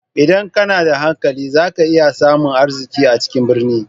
Idan kana da hankali za ka iya samun arziki a cikin birni.